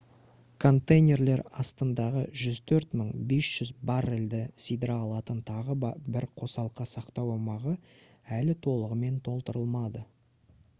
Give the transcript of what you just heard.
контейнерлер астындағы 104 500 баррельді сыйдыра алатын тағы бір қосалқы сақтау аумағы әлі толығымен толтырылмады